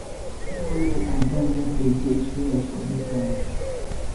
me sef no small o, o i don get plenty experiences for dis ah